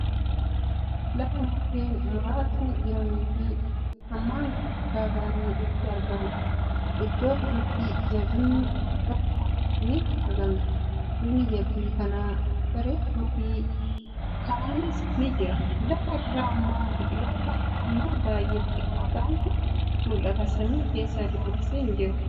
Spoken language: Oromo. Lafa mukkeen muraasni jiranii fii hammaan gurguddaa ta'an itti argamuudha. Iddoo kanatti jabbiin tokko ni argamti. Bifni jabbii kanaa buburreedha. Karaanis ni jira, Lafa irra immoo biqiltoota hammaan baay'ee xixiqqoo ta'antu mul'ata. Samii keessa duumessi hin jiru.